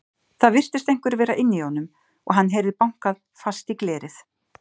Það virtist einhver vera inni í honum og hann heyrði bankað fast í glerið.